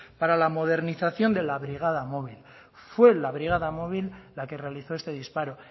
para la modernización de la brigada móvil fue la brigada móvil la que realizó este disparo